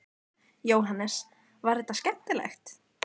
Jóhannes: Var þetta skemmtilegt?